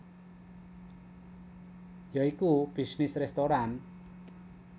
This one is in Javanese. Ya iku bisnis restoran